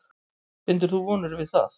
Bindur þú vonir við það?